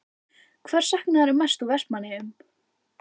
Hvers saknarðu mest úr Vestmannaeyjum?